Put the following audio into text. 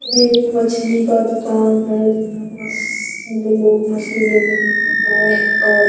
ये एक मछली का दुकान है जिसमें मछली हुई हैं और